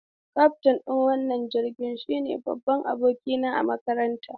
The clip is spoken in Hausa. Kaftin ɗin wannan jirgin shine babban abokina a makaranta.